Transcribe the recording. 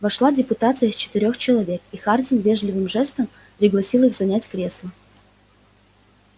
вошла депутация из четырёх человек и хардин вежливым жестом пригласил их занять кресла